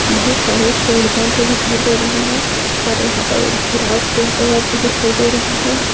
बहुत सारे चिड़िया भी दिखाई दे रही है और यहाँ पर एक घेराव भी दिखाई दे रहा हैं ।